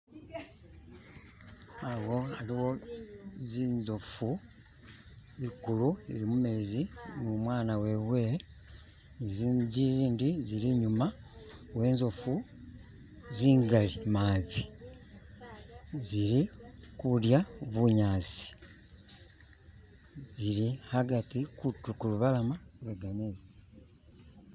Awo aliwo zinzofu ekulu ili mu meezi ni umwaana wewe, zindi zili enyuma we nzofu zingali mabi zili kundya bunyansi zili agati kulubalama lwe gameezi.